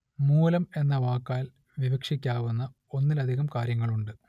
മൂലം എന്ന വാക്കാൽ വിവക്ഷിക്കാവുന്ന ഒന്നിലധികം കാര്യങ്ങളുണ്ട്